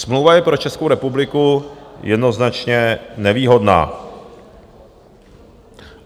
Smlouva je pro Českou republiku jednoznačně nevýhodná.